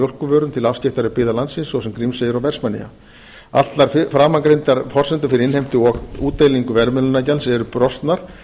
mjólkurvörum til afskekktari byggða landsins svo sem grímseyjar og vestmannaeyja allar framangreindar forsendur fyrir innheimtu og útdeilingu verðmiðlunargjalds eru brostnar